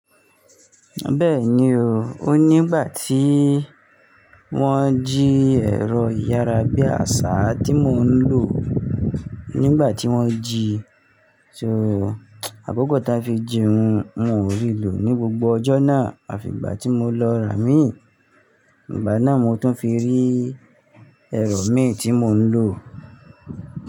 Bẹ́ẹ̀ni o, o nígbà tí wọ́n jí ẹ̀rọ ìyárabíàṣá tí mò ń lò nígbà tí wọ́n ji, so àkókò tí wọ́n fi jí wọn, wọn ò rí lò ní gbogbo ọjọ́ náà, àfi ìgbà tí mo lọ rà mí, ìgbà náà mo tún fi rí ẹ̀rọ mi tí mò ń lò.